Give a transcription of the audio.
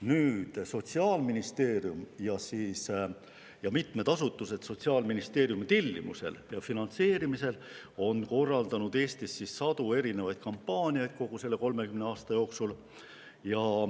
Nüüd, Sotsiaalministeerium ja mitmed asutused Sotsiaalministeeriumi tellimusel ja finantseerimisel on korraldanud Eestis sadu kampaaniaid kogu selle 30 aasta jooksul.